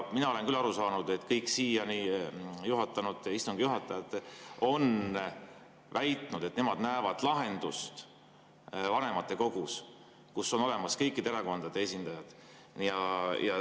Mina olen küll aru saanud, et kõik siiani istungit juhatanud juhatajad on väitnud, et nemad näevad lahendust vanematekogus, kus on olemas kõikide erakondade esindajad.